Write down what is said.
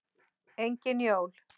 Engin jól.